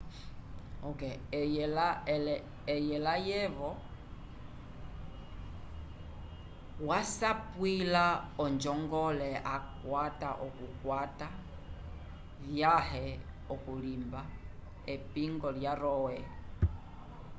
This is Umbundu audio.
eye layevo wasapwila onjongole akwata yokukwata vyãhe okulimba epingo lya roe